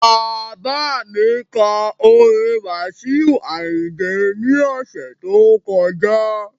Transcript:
Bàbá kọ orin Wasiu Ayinde ní ọ̀sẹ̀ tó kọjá